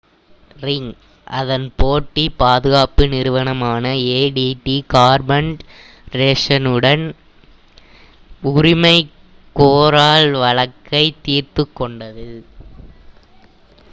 ring அதன் போட்டி பாதுகாப்பு நிறுவனமான adt கார்ப்பரேஷனுடன் உரிமை கோரல் வழக்கை தீர்த்துக் கொண்டது